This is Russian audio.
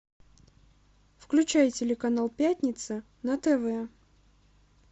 включай телеканал пятница на тв